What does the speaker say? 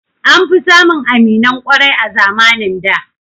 An fi samun aminan ƙwarai a zamanin da